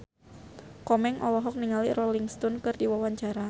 Komeng olohok ningali Rolling Stone keur diwawancara